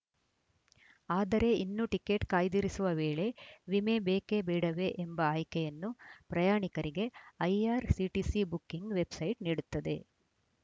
ಆದರೆ ಇನ್ನು ಟಿಕೆಟ್‌ ಕಾಯ್ದಿರಿಸುವ ವೇಳೆ ವಿಮೆ ಬೇಕೇ ಬೇಡವೇ ಎಂಬ ಆಯ್ಕೆಯನ್ನು ಪ್ರಯಾಣಿಕರಿಗೆ ಐಆರ್‌ಸಿಟಿಸಿ ಬುಕ್ಕಿಂಗ್‌ ವೆಬ್‌ಸೈಟ್‌ ನೀಡುತ್ತದೆ